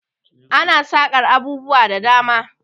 Ana saƙar abubuwa da dama.